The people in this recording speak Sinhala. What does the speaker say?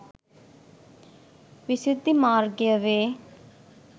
විසුද්ධි මාර්ගය වේ.